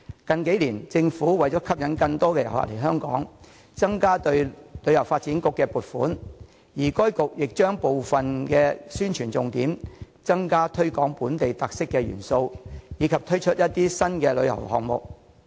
近數年來，為吸引更多旅客訪港，政府增加向香港旅遊發展局撥款，而該局亦重點宣傳和推廣具本地特色元素的項目，並同時推出一些新的旅遊項目。